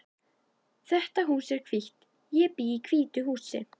Þetta hús er hvítt. Ég bý í hvítu húsi.